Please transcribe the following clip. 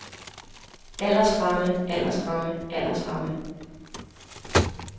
aldersramme aldersramme aldersramme